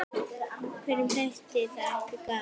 Hverjum þætti það ekki gaman?